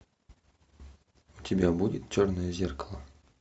у тебя будет черное зеркало